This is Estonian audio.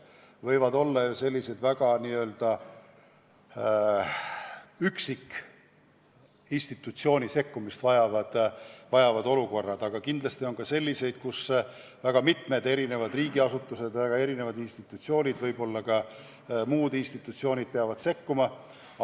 Võivad tekkida mõne üksikinstitutsiooni sekkumist vajavad olukorrad, aga kindlasti ka sellised, kus väga mitmed riigiasutused, väga erinevad riigi- ja võib-olla ka muud institutsioonid peavad sekkuma.